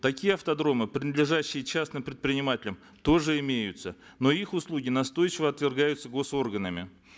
такие автодромы принадлежащие частным предпринимателям тоже имеются но их услуги настойчиво отвергаются госорганами